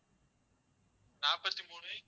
நாற்பத்தி மூணு